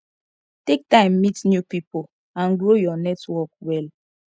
take time meet new pipo and grow your network well